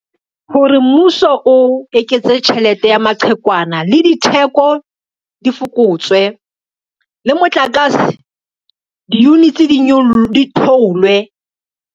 Hore mmuso o eketse tjhelete ya maqhekwana le ditheko di fokotswe, le motlakase, di-units di theolwe.